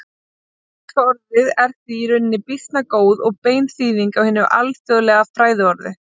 Íslenska orðið er því í rauninni býsna góð og bein þýðing á hinu alþjóðlega fræðiorði.